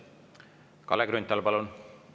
Kalle Grünthal, palun!